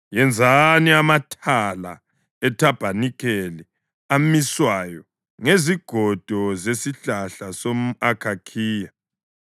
Yenzani amathala ethabanikeli amiswayo ngezigodo zesihlahla somʼakhakhiya.